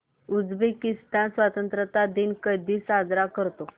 Uzbekistan स्वतंत्रता दिन कधी साजरा करतो